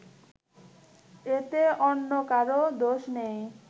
এতে অন্য কারও দোষ নেই